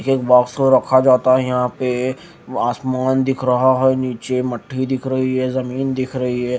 एक बॉक्स को रखा जाता है यहां पे आसमान दिख रहा है नीचे मट्ठी दिख रही है जमीन दिख रही है।